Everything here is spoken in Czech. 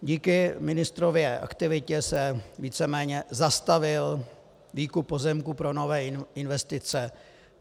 Díky ministrově aktivitě se víceméně zastavil výkup pozemků pro nové investice.